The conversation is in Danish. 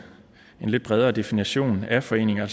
lidt bredere definition af foreninger